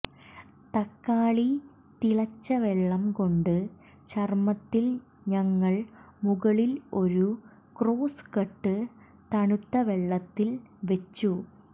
തക്കാളി തിളച്ച വെള്ളം കൊണ്ട് ചർമ്മത്തിൽ ഞങ്ങൾ മുകളിൽ ഒരു ക്രോസ് കട്ട് തണുത്ത വെള്ളത്തിൽ വെച്ചു